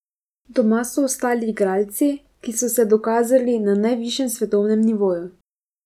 Doma so ostali igralci, ki so se dokazali na najvišjem svetovnem nivoju.